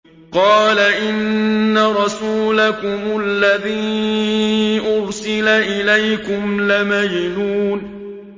قَالَ إِنَّ رَسُولَكُمُ الَّذِي أُرْسِلَ إِلَيْكُمْ لَمَجْنُونٌ